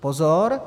Pozor!